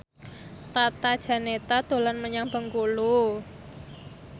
Tata Janeta dolan menyang Bengkulu